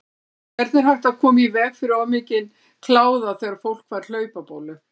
Hvernig er hægt að koma í veg fyrir of mikinn kláða þegar fólk fær hlaupabólu?